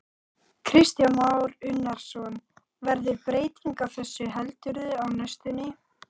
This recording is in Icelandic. Kristján Már Unnarsson: Verður breyting á þessu heldurðu á næstunni?